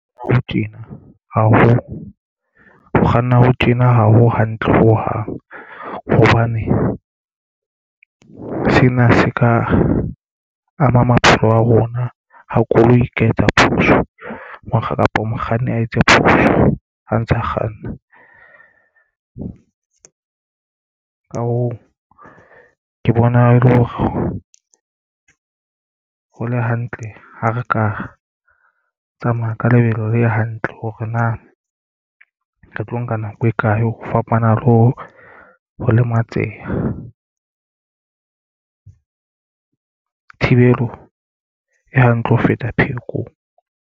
Ho tjena ho kganna ho tjena ha ho hantle ho hang hobane sena se ka ama maphelo a rona ha koloi ka etsa phoso mokga kapa mokganni a etse phoso ho ntsha kganna. Ka hoo ke bona e le hore ho le hantle ha re ka tsamaya ka lebelo le hantle hore na re tlo nka nako e kae. Ho fapana le ho lematseha. Thibelo e hantle ho feta pheko.